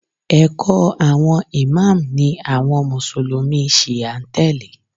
ẹkọ awọn İmam ni àwọn mùsùlùmí shia n tele